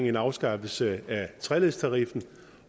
en afskaffelse af treledstariffen